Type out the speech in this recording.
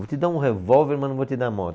Vou te dar um revólver, mas não vou te dar moto.